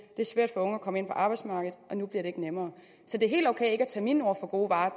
det er svært for unge at komme ind på arbejdsmarkedet og nu bliver det ikke nemmere det er helt ok ikke at tage mine ord for gode varer